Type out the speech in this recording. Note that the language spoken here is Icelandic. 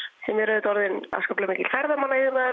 sem eru orðin afskaplega mikill ferðamannaiðnaður